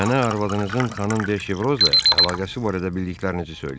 Mənə arvadınızın xanım De Şevrozla əlaqəsi barədə bildiklərinizi söyləyin.